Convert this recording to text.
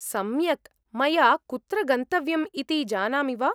सम्यक्, मया कुत्र गन्तव्यम् इति जानामि वा?